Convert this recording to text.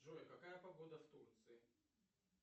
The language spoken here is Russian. джой какая погода в турции